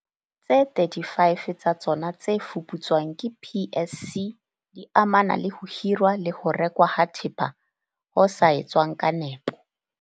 Tse 35 tsa tsona tse fuputswang ke PSC di amana le ho hirwa le ho rekwa ha thepa ho sa etswang ka nepo.